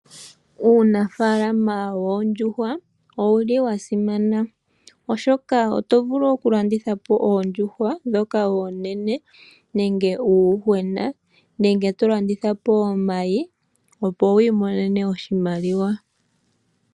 Uunafaalama woondjuhwa owuli wa simana oshoka oto vulu oku landitha po oondjuhwa dhoka oonene nenge uuyuhwena, nenge to landitha po omayi opo wiimonene oshimaliwa.